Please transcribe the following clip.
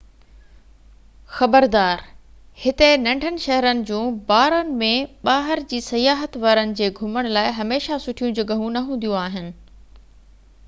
خبردار هتي ننڍن-شهرن جون بارن ۾ ٻاهر جي سياحت وارن جي گهمڻ لاءِ هميشه سٺيون جڳهيون نه هونديون آهن